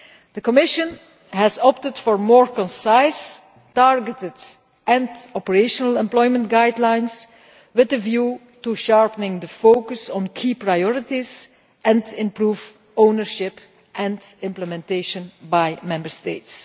The Commission has opted for more concise, targeted and operational employment guidelines with a view to sharpening the focus on key priorities and improve ownership and implementation by Member States.